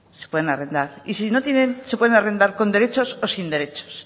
se pueden arrendar y si no tienen se pueden arrendar con derechos o sin derechos